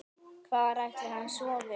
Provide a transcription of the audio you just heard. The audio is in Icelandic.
Hvar ætli hann sofi?